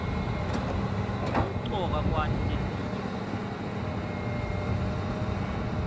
kumcoka kwati letinye tiliwimi